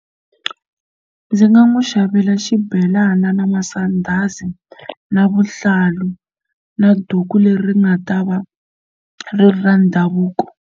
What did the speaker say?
Ndzi nga n'wi xavela xibelana na masandhazi na vuhlalu na duku leri nga ta va ri ri ra ndhavuko.